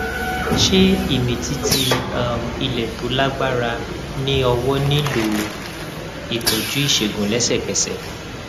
ṣé ìmìtìtì um ilẹ tó lágbára ní ọwọ nílò ìtọjú ìṣègùn lẹsẹkẹsẹ